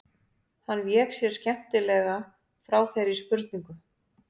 Hann vék sér skemmtilega frá þeirri spurningu.